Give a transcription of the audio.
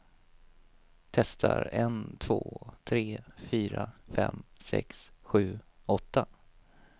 Testar en två tre fyra fem sex sju åtta.